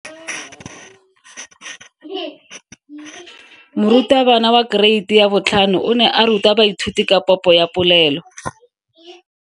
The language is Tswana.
Moratabana wa kereiti ya 5 o ne a ruta baithuti ka popo ya polelo.